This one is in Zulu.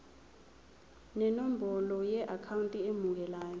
nenombolo yeakhawunti emukelayo